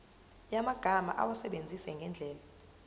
yamagama awasebenzise ngendlela